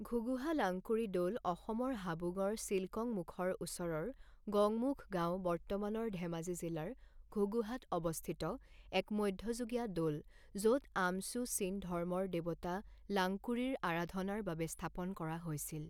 ঘুগুহা লাংকুৰি দৌল অসমৰ হাবুংৰ চিল কং মুখৰ ওচৰৰ গঙমুখ গাওঁ বৰ্তমানৰ ধেমাজি জিলাৰ ঘুগুহাত অৱস্থিত এক মধ্যযুগীয় দৌল যত আম চ্যু চীন ধৰ্মৰ দেৱতা লাংকুৰিৰ আৰাধনাৰ বাবে স্থাপন কৰা হৈছিল।